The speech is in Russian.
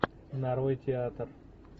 нарой театр